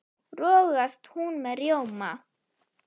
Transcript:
rogast hún með rjóma